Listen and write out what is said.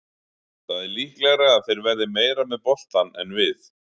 Það er líklegra að þeir verði meira með boltann en við.